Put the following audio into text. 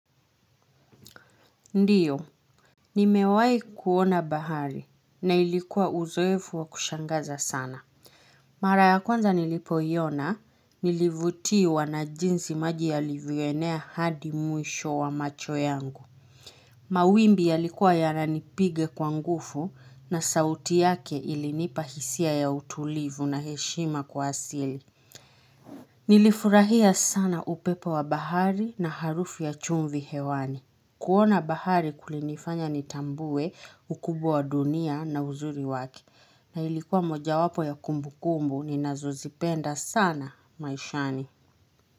Ndiyo, ni mewai kuona bahari na ilikuwa uzoefu wa kushangaza sana. Mara ya kwanza nilipoyona, nilivutiwa na jinzi maji yalivyoenea hadi mwisho wa macho yangu. Mawimbi yalikuwa yananipiga kwa nguvu na sauti yake ilinipahisia ya utulivu na heshima kwa asili. Nilifurahia sana upepo wa bahari na harufu ya chumvi hewani. Kuona bahari kulinifanya nitambue ukubwa dunia na uzuri waki na ilikuwa moja wapo ya kumbu kumbu ni ninazozipenda sana maishani.